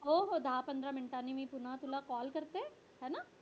हो हो दहा पंधरा मिनिटाने मी तुला पुन्हा call करते हे ना